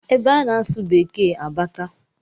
Ebe a na-asụ beeke abaka